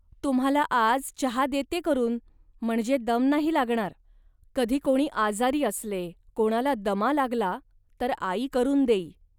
तुम्हांला आज चहा देत्ये करून, म्हणजे दम नाही लागणार. कधी कोणी आजारी असले, कोणाला दमा लागला, तर आई करून देई